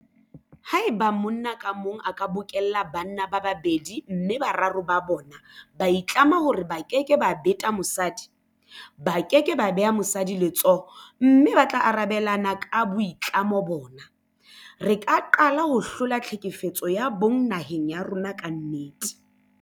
Haeba monna ka mong a ka bokella banna ba babedi mme boraro ba bona ba itlama hore ba keke ba beta mosadi, ba ke ke ba beha mosadi letsoho mme ba tla arabelana ka boitlamo bona, re ka qala ho hlola tlhekefetso ya bong naheng ya rona ka nnete.